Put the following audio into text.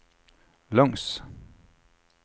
langs